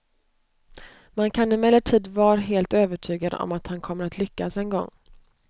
Man kan emellertid var helt övertygad om att han kommer att lyckas en gång.